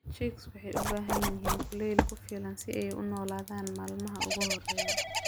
Chicks waxay u baahan yihiin kulayl ku filan si ay u noolaadaan maalmaha ugu horreeya.